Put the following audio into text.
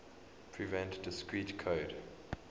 prevent discrete code